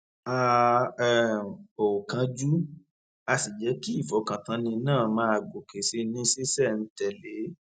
a um ò kánjú a sì jẹ kí ìfọkàntánni náà máa gòkè sí i ní ṣísẹntèlé